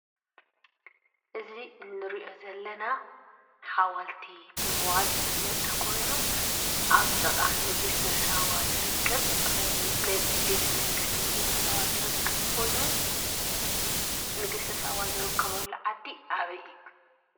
እዚ እንሪኦ ዘለና ሓወልቲ ብምባል ዝፍለጥ ኮይኑ ኣብ ጥቓ ንግስተ ሳባ ትርከብ ናይ ቤተ መንግስቲ ንግስተ ሳባ ዝርከብ ኮይኑ ንግስተ ሳባ ዝርከበሉ ዓዲ ኣበይ እዩ?